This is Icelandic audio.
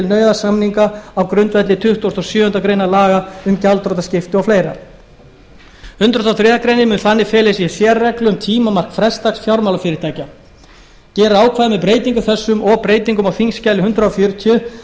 nauðasamninga á grundvelli tuttugasta og sjöundu grein laga um gjaldþrotaskipti og fleira hundrað og þriðju grein mun þannig fela í sér sérreglu um tímamark frestdags fjármálafyrirtækja gerir ákvæðið með breytingum þessum og breytingum á þingskjali hundrað fjörutíu ráð